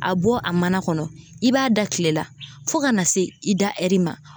A bɔ a mana kɔnɔ, i b'a da kile la fo ka na se i da ma.